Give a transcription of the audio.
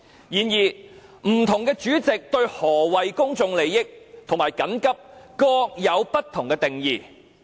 然而，不同主席對何謂"與公眾有重大關係"和"性質急切"各有不同定義。